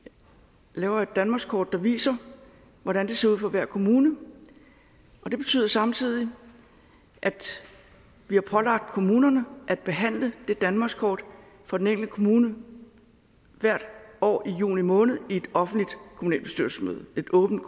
laver vi et danmarkskort der viser hvordan det ser ud for hver kommune det betyder samtidig at vi har pålagt kommunerne at behandle det danmarkskort for den enkelte kommune hvert år i juni måned i et offentligt kommunalbestyrelsesmøde et åbent